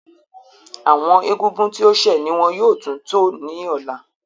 Awọn ègúngún tí o ṣẹ ni wọn yóò tún tó ní òlà.